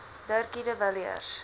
dirkie de villiers